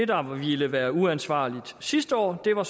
der ville være uansvarligt sidste år var